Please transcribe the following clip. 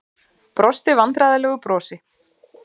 Brosti vandræðalegu brosi.